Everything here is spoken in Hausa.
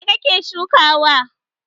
Me ka ke shukawa?